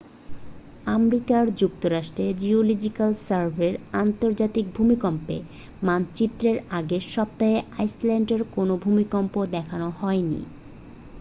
America যুক্তরাষ্ট্রের geological সার্ভের আন্তর্জাতিক ভূমিকম্পের মানচিত্রে এর আগের সপ্তাহে আইসল্যান্ডে কোনও ভূমিকম্প দেখানো হয়নি